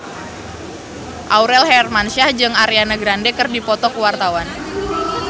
Aurel Hermansyah jeung Ariana Grande keur dipoto ku wartawan